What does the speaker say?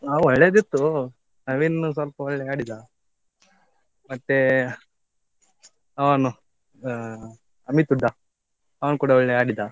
ಹಾ ಒಳ್ಳೆದಿತ್ತು, ನವೀನ್ ಸ್ವಲ್ಪ ಒಳ್ಳೆ ಆಡಿದ, ಮತ್ತೆ ಅವನು ಅಹ್ ಅಮಿತ್ ಹೂಡಾ ಅವನ್ ಕೂಡಾ ಒಳ್ಳೆ ಆಡಿದ.